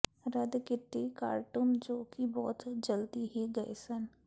ਰੱਦ ਕੀਤੀ ਕਾਰਟੂਨ ਜੋ ਕਿ ਬਹੁਤ ਜਲਦੀ ਹੀ ਗਏ ਸਨ